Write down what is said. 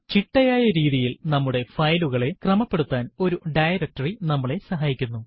ചിട്ടയായ രീതിയിൽ നമ്മുടെ ഫയലുകളെ ക്രമപ്പെടുത്താൻ ഒരു ഡയറക്ടറി നമ്മളെ സഹായിക്കുന്നു